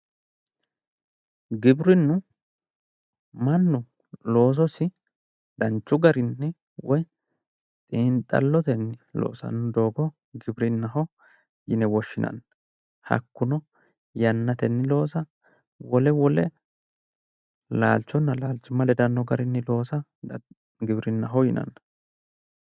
giwirinnu mannu loososi danchu garinni woyi xiinxalotenni loosanno doogo giwirinaho yine woshshinanni hakkuno yannatenni loosa wole wole laalchonna laalchimma ledanno garinni loosa giwirinnaho yinanni.